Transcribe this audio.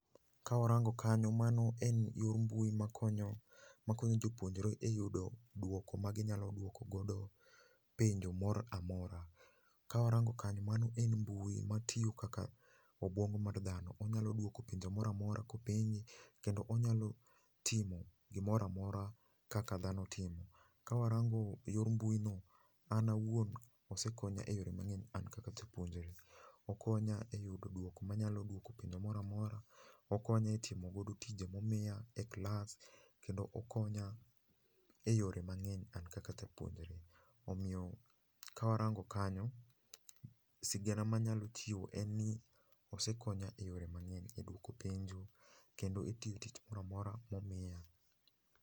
Ka warango kanyo, mano en yor mbui ma konyo, ma konyo jopuonjre e yudo duoko ma ginyalo duoko godo penjo moramora. Ka warango kanyo mano en mbui matiyo kaka obuongo mar dhano. Onyalo duoko penjo moramora kopenje kendo onyalo timo gimoramora kaka dhano timo. Ka warango yor mbui no, an awuon osekonya e yore mang'eny an kaka japuonjre. Okonya e yudo duoko manyalo duoko penjo moramora, okonya e timo godo tije momiya e klas, kendo okonya e yore mang'eny, an kaka japuonjre. Omiyo, ka warango kanyo, sigana manyalo chiwo en ni osekonya e yore mang'eny, e duoko penjo kendo e tiyo tich moramora momiya.